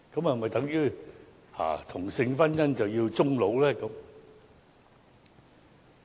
是否等於同性婚姻便要終老呢？